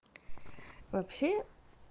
вообще